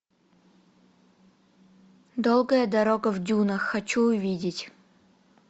долгая дорога в дюнах хочу увидеть